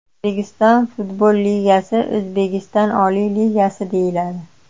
O‘zbekiston futbol ligasi O‘zbekiston oliy ligasi deyiladi.